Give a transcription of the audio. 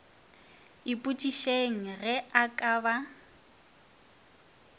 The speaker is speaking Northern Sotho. ipotšišeng ge e ka ba